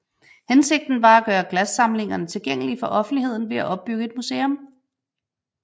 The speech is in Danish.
Hensigten var at gøre glassamlingerne tilgængelige for offentligheden ved at opbygge et museum